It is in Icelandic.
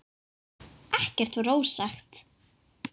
Ekkert var ósagt.